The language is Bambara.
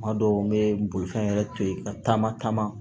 Kuma dɔw n be bolifɛn yɛrɛ to yen ka taama taama